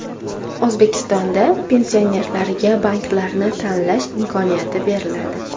O‘zbekistonda pensionerlarga banklarni tanlash imkoniyati beriladi.